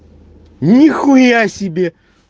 нихуя себе